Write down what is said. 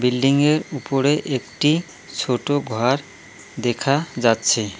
বিল্ডিংয়ের উপরে একটি ছোট ঘর দেখা যাচ্ছে।